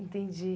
Entendi.